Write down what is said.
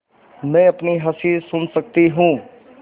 मैं अपनी हँसी सुन सकती हूँ